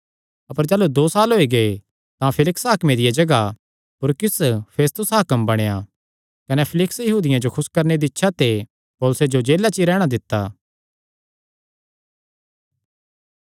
अपर जाह़लू दो साल होई गै तां फेलिक्स हाकमे दिया जगाह पर पुरकियुस फेस्तुस हाकम बणेया कने फेलिक्स यहूदियां जो खुस करणे दी इच्छा ते पौलुसे जो जेला च ई रैहणा दित्ता